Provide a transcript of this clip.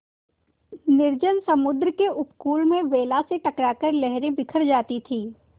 निर्जन समुद्र के उपकूल में वेला से टकरा कर लहरें बिखर जाती थीं